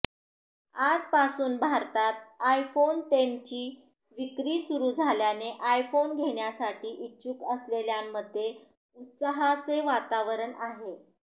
आजपासून भारतात आयफोन टेनची विक्री सुरु झाल्याने आयफोन घेण्यासाठी इच्छुक असलेल्यांमध्ये उत्साहाचे वातावरण आहे